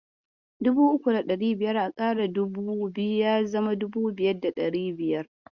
Dubu uku da ɗari biyar a ƙara dubu biyu, ya zama dubu biyar da ɗari biyar.